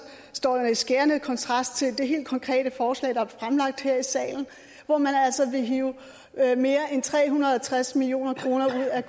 står i skærende kontrast til det helt konkrete forslag der er fremlagt her i salen hvor man altså vil hive mere end tre hundrede og tres million kroner ud af